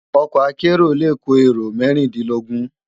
Òkò àkèéró lé kó éró mèrindinlógùn